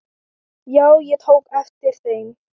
Já, ég tók eftir þeim.